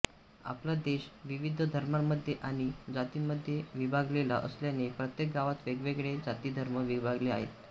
आपला देश विविध धर्मांमधे आणि जातीमध्ये विभागलेला असल्याने प्रत्येक गावात वेगवेगळे जाती धर्म विभागले आहेत